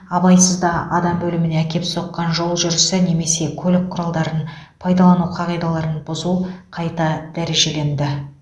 абайсызда адам өліміне әкеп соққан жол жүрісі немесе көлік құралдарын пайдалану қағидаларын бұзу қайта дәрежеленді